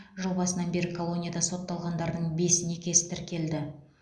жыл басынан бері колонияда сотталғандардың бес некесі тіркелді